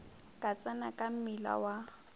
ka tsena ka mmila wa